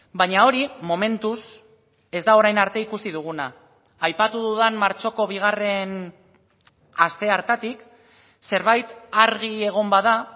baina hori momentuz ez da orain arte ikusi duguna aipatu dudan martxoko bigarrena aste hartatik zerbait argi egon bada